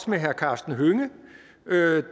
med herre karsten hønge